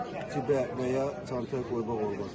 Cibə və ya çantaya qoymaq olmaz.